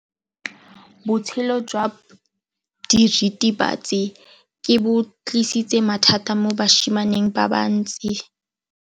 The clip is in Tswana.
Botshelo jwa diritibatsi ke bo tlisitse mathata mo basimaneng ba bantsi.